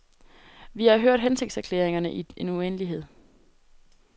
Vi har hørt hensigtserklæringerne i en uendelighed.